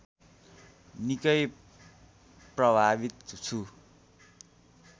निकै प्रभावित छु